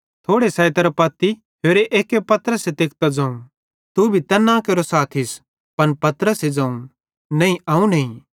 थोड़ी सैइत्रां पत्ती होरे एक्के पतरसेरां तेकतां ज़ोवं तू भी तैन्ना केरो साथीस पन पतरसे ज़ोवं नईं अवं नईं